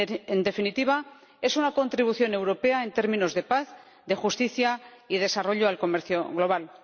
En definitiva, es una contribución europea en términos de paz, justicia y desarrollo al comercio global.